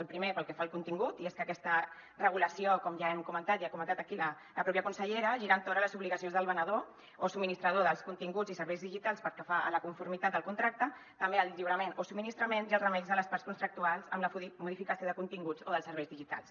el primer pel que fa al contingut i és que aquesta regulació com ja hem comentat i ha comentat aquí la pròpia consellera gira entorn de les obligacions del venedor o subministrador dels continguts i serveis digitals pel que fa a la conformitat del contracte també al lliurament o subministrament i als remeis de les parts contractuals i la modificació dels continguts o dels serveis digitals